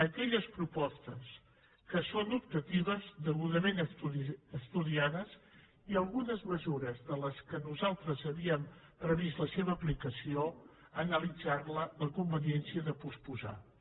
aquelles propostes que són optatives degudament estudiades i algunes mesures de les quals nosaltres havíem previst la seva aplicació analitzar la conveniència de posposar les